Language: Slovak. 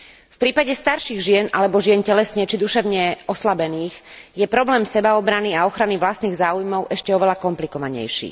V prípade starších žien alebo žien telesne či duševne oslabených je problém sebaobrany a ochrany vlastných záujmov ešte oveľa komplikovanejší.